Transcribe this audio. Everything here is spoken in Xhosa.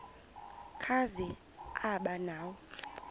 kazi aba nawo